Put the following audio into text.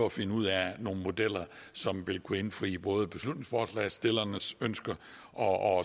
at finde ud af nogle modeller som vil kunne indfri både beslutningsforslagsstillernes ønske og